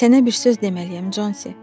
Sənə bir söz deməliyəm, Consi.